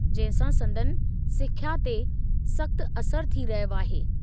जंहिं सां संदनि सिख्या ते सख़्त असर थी रहियो आहे।